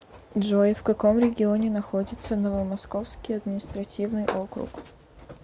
джой в каком регионе находится новомосковский административный округ